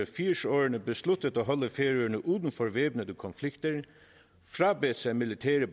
firserne besluttet at holde færøerne uden for væbnede konflikter frabedt sig militære